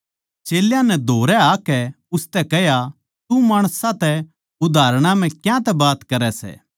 चेल्यां नै धोरै आकै उसतै कह्या तू माणसां तै उदाहरणां म्ह क्यांतै बात करै सै